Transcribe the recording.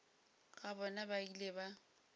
ga bona ba ile ba